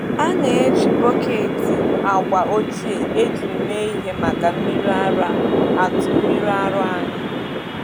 A na-eji bọket agba ochie ejiri mee ihe maka mmiri ara atụ mmiri ara anyị.